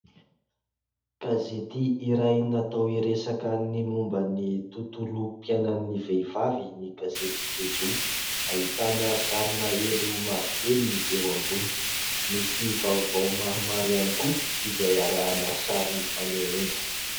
Gazety iray natao hiresaka ny momban'ny tontolom-piainan'ny vehivavy ny gazety "Jejoo". Ahitana sarina elo mavokely eo ambony. Misy vaovao maromaro ihany koa izay arahana sary fanehoana.